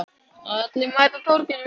Allir mæta á Torginu